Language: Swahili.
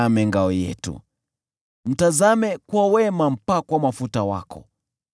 Ee Mungu, uitazame ngao yetu, mtazame kwa wema mpakwa mafuta wako.